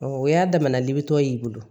o y'a damana libetɔ ye i bolo